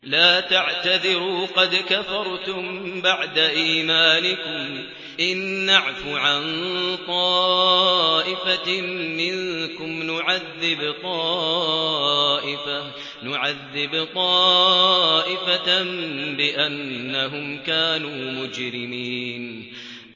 لَا تَعْتَذِرُوا قَدْ كَفَرْتُم بَعْدَ إِيمَانِكُمْ ۚ إِن نَّعْفُ عَن طَائِفَةٍ مِّنكُمْ نُعَذِّبْ طَائِفَةً بِأَنَّهُمْ كَانُوا مُجْرِمِينَ